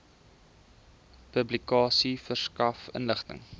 publikasie verskaf inligting